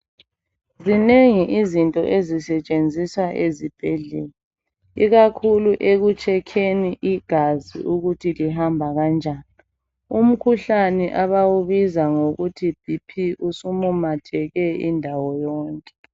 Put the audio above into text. Zinengi izinto ezisetshenziswa ezibhedlela ikakhulu ekutshekheni igazi Ukuthi lihamba kanjani umkhuhlane abawubiza ngokuthi BP sumumatheke indawo yonke .